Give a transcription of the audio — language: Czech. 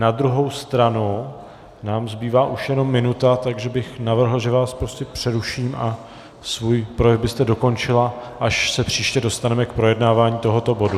Na druhou stranu nám zbývá už jenom minuta, takže bych navrhl, že vás prostě přeruším a svůj projev byste dokončila, až se příště dostaneme k projednávání tohoto bodu.